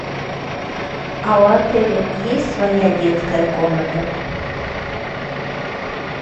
а у отеля есть своя детская комната